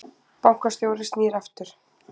Bankastjóri snýr aftur